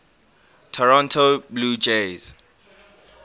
toronto blue jays